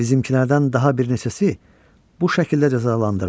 Bizimkilərdən daha bir neçəsi bu şəkildə cəzalandırılıb.